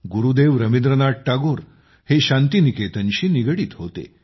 गुरुदेव रवींद्रनाथ टागोर हे शांती निकेतनशी निगडीत होते